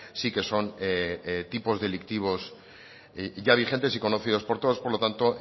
sí que son tipos delictivos ya vigentes y conocidos por todos por lo tanto